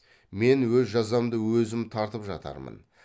мен өз жазамды өзім тартып жатармын